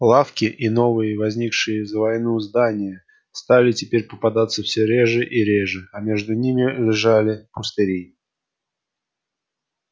лавки и новые возникшие за войну здания стали теперь попадаться все реже и реже а между ними лежали пустыри